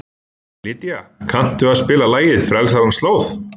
Lydía, kanntu að spila lagið „Frelsarans slóð“?